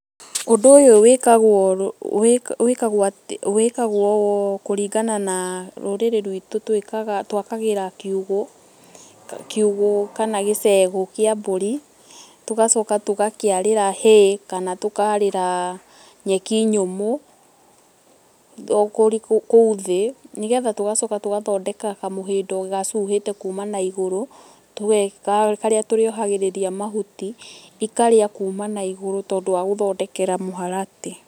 Ũndũ ũyũ wĩkagwo kũrĩngana na rũrĩrĩ rwitũ twakagĩra kĩũgũ kana gĩcegũ kĩa mbũrĩ tũgacoka tũgakiarĩra hay kana tũkarĩra nyeki nyũmũ kuũ thĩ nĩgetha tũgacoka tũgathondeka kamũhĩndo gacuhĩte kũma na ĩgũrũ karĩa tũrĩohagĩrĩrĩa mahũti ĩkarĩa kuũma na ĩgũrũ tondũ wa gũthondekera mũharatĩ.